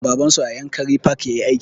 Baban su a yankari park yayi aiki